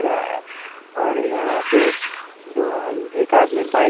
रहा है और यहाँ पे दो एक आदमी बाइक --